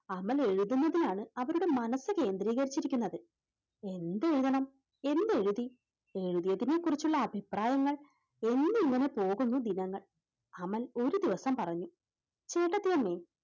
അമൽ എഴുതുന്നതിൽ ആണ് അവരുടെ മനസ്സ് കേന്ദ്രീകരിച്ചിരിക്കുന്നത്, എന്ത് എഴുതണം? എന്തെഴുതി? എഴുതിയതിനെ കുറിച്ചുള്ള അഭിപ്രായങ്ങൾ എന്നിങ്ങനെ പോകുന്നു ദിനങ്ങൾ. അവൻ ഒരു ദിവസം പറഞ്ഞു ചേട്ടത്തിയമ്മേ,